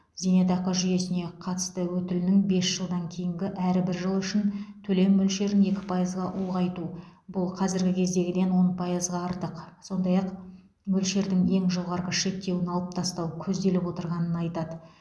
зейнетақы жүйесіне қатысу өтілінің бес жылдан кейінгі әрбір жылы үшін төлем мөлшерін екі пайызға ұлғайту бұл қазіргі кездегіден он пайызға артық сондай ақ мөлшердің ең жоғары шектеуін алып тастау көзделіп отырғанын айтады